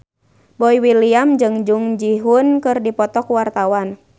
Boy William jeung Jung Ji Hoon keur dipoto ku wartawan